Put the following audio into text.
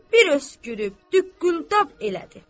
Bir öskürüb, düqqüldab elədi.